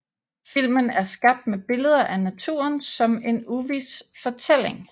Filmen er skabt med billeder af naturen som en uvis fortælling